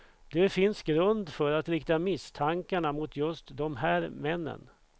Det finns grund för att rikta misstankarna mot just de här männen.